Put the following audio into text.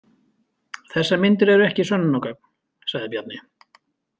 Þessar myndir eru ekki sönnunargögn, sagði Bjarni.